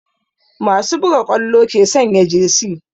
Masu buga ƙwallo ke sanya jesi